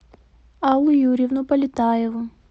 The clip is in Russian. аллу юрьевну полетаеву